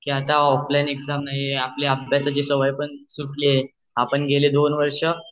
ते आता offline exam नाही आहे आपले एक्साम्ची सवय पण सुटलेली आहे आपण गेले दोन वर्ष